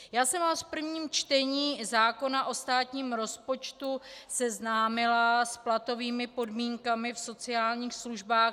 Já jsem vás v prvním čtení zákona o státním rozpočtu seznámila s platovými podmínkami v sociálních službách.